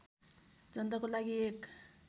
जनताको लागि एक